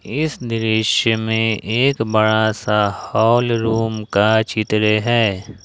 इस दृश्य में एक बड़ा सा हॉल रूम का चित्र है।